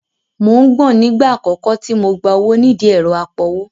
Mò ń gbọ̀n nígbà àkọ́kọ́ tí mo gba owó nídìí ẹ̀rọ apowó